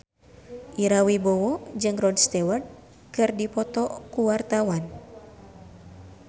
Ira Wibowo jeung Rod Stewart keur dipoto ku wartawan